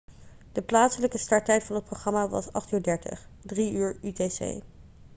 de plaatselijke starttijd van het programma was 20.30 uur 15.00 utc